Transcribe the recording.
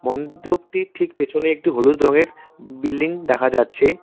মন্ডপটির ঠিক পিছনে একটি হলুদ রঙের বিল্ডিং দেখা যাচ্ছে।